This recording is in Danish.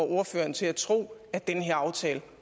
ordføreren til at tro at den her aftale